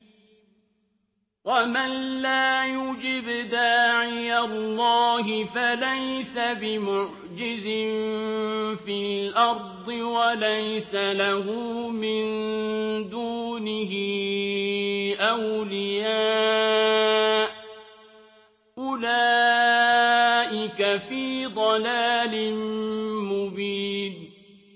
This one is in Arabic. وَمَن لَّا يُجِبْ دَاعِيَ اللَّهِ فَلَيْسَ بِمُعْجِزٍ فِي الْأَرْضِ وَلَيْسَ لَهُ مِن دُونِهِ أَوْلِيَاءُ ۚ أُولَٰئِكَ فِي ضَلَالٍ مُّبِينٍ